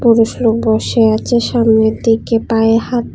লোক বসে আছে সামনের দিকে পায়ে হাত--